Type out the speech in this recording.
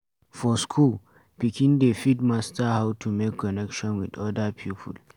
For school, pikin dey fit master how to make connection with oda people